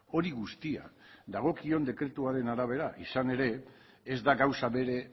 hori guztia dagokion dekretuaren arabera izan ere ez da gauza bere